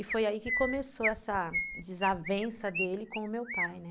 E foi aí que começou essa desavença dele com o meu pai, né?